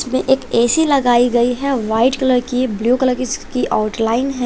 इसमें एक ए_सी लगाई गई है वाइट कलर की ब्लू कलर की उसकी आउटलाइन है।